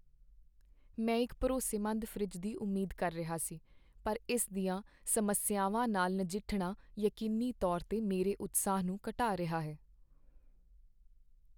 ਮੈਂ ਇੱਕ ਭਰੋਸੇਮੰਦ ਫਰਿੱਜ ਦੀ ਉਮੀਦ ਕਰ ਰਿਹਾ ਸੀ, ਪਰ ਇਸ ਦੀਆਂ ਸਮੱਸਿਆਵਾਂ ਨਾਲ ਨਜਿੱਠਣਾ ਯਕੀਨੀ ਤੌਰ 'ਤੇ ਮੇਰੇ ਉਤਸ਼ਾਹ ਨੂੰ ਘਟਾ ਰਿਹਾ ਹੈ।